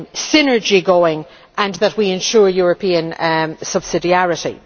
synergy going and that we ensure European subsidiarity.